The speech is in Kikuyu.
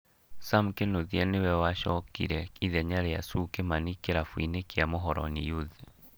Sam Kinuthia nĩwe wacokire ithenya rĩa Sue Kimani kĩrabu-inĩ kĩa Mũhoroni Youth